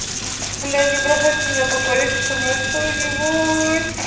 бля не бросайте меня поговорите со мной кто-нибудь